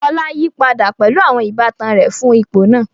Fola yí padà pẹ̀lú àwọn ìbátan rẹ̀ fún ipò náà.